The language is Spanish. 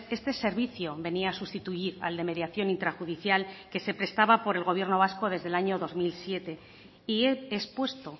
este servicio venía a sustituir al de mediación intrajudicial que se prestaba por el gobierno vasco desde el año dos mil siete y he expuesto